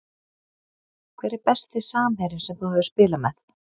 Hver er besti samherjinn sem þú hefur spilað með?